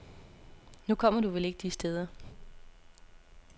Nu kommer du vel ikke de steder.